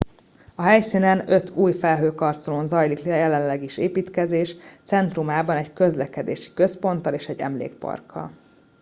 a helyszínen öt új felhőkarcolón zajlik jelenleg is építkezés centrumában egy közlekedési központtal és egy emlékparkkal